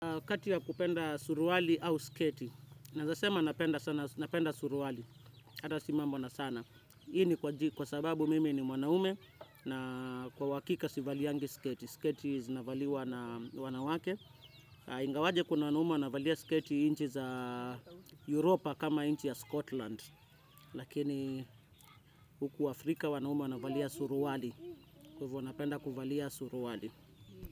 Katia kupenda suruwali au sketi. Nazasema napenda sana napenda suruwali. Hata simambo na sana. Ini kwa sababu mimi ni mwanaume na kwa wakika sivali yangi sketi. Sketi zinavaliwa na wanawake. Ingawaje kuna wanaume wanavalia sketi inchi za Europa kama inchi ya Scotland. Lakini huku Afrika wanaume wanavalia suruwali. Kwa hivo napenda kuvalia suruwali.